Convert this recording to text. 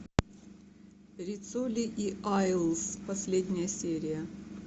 риццоли и айлс последняя серия